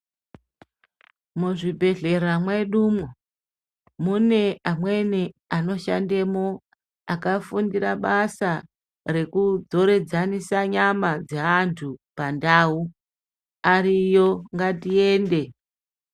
Muzvibhedhlera mwedumwo, mune amweni anoshandemwo akafundire basa rekudzoradzanisa nyama dzeanthu pandau, ariyo ngatiende.